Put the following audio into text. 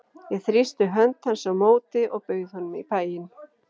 Ég þrýsti hönd hans á móti og bauð honum í bæinn.